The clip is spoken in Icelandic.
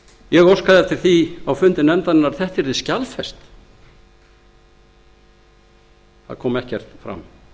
ég óskaði eftir því á fundi nefndarinnar að þetta yrði skjalfest það kom ekkert fram